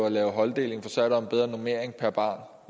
at lave holddeling for så er der en bedre normering per barn